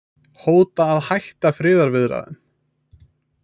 Hóta að hætta friðarviðræðum